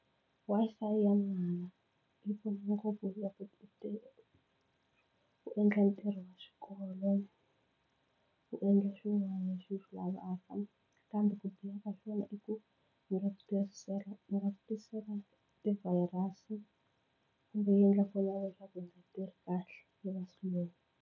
Wi-Fi ya mahala yi pfuna ngopfu ku u endla ntirho wa xikolo u endla swin'wana leswi u swi lavaka kambe ku biha ka swona i ku yi nga ku yi nga ku tisela ti-virus kumbe yi endla fonela ya wena swa ku yi nga tirhi kahle yi va slow.